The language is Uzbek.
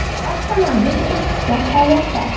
Avtomobil ishchi holatda.